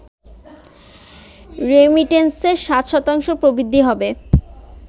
রেমিটেন্সে ৭ শতাংশ প্রবৃদ্ধি হবে